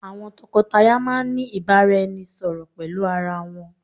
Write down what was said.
Àwọn tòkó-tàyá máà ní ìbáraẹnisọ̀rọ̀ pẹlú arà wọn